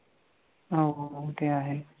हा हो हो ते आहेच.